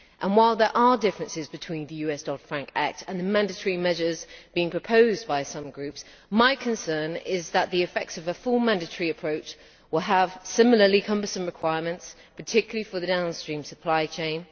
While there are differences between the US Dodd Frank Act and the mandatory measures being proposed by some groups, my concern is that the effects of a full mandatory approach will have similarly cumbersome requirements, particularly for the downstream supply chain.